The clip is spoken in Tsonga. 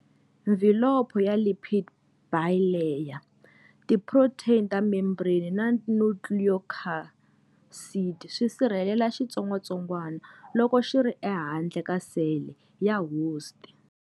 Mvhilopho ya lipid bilayer, ti protein ta membrane na nucleocapsid swisirhelela xitsongwatsongwana loko xiri ehandle ka sele ya host.